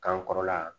Kankɔrɔla